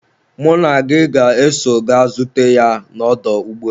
mụ na gị ga-eso ga zute ya na ọdọ ụgbọelu